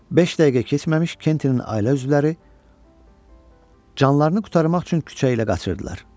Beş dəqiqə keçməmiş Kentin ailə üzvləri canlarını qurtarmaq üçün küçə ilə qaçırdılar.